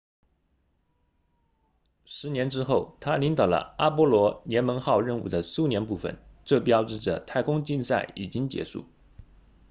十年之后他领导了阿波罗联盟号任务的苏联部分这标志着太空竞赛已经结束